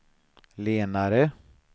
lenare